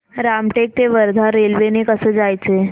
रामटेक ते वर्धा रेल्वे ने कसं जायचं